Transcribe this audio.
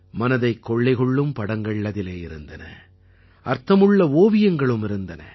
மனதைக் கொள்ளை கொள்ளும் படங்கள் அதிலே இருந்தன அர்த்தமுள்ள ஓவியங்களும் இருந்தன